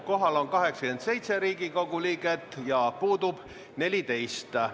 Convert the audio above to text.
Kohal on 87 Riigikogu liiget ja puudub 14.